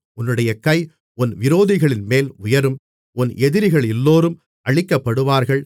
உன்னுடைய கை உன் விரோதிகளின்மேல் உயரும் உன் எதிரிகளெல்லோரும் அழிக்கப்படுவார்கள்